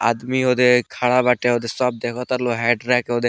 आदमी ओदे खड़ा बाटे ओदे सब देखता लोग हाइड्रा के ओदे --